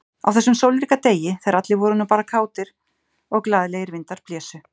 Á þessum sólríka degi, þegar allir voru nú bara kátir, og glaðlegir vindar blésu.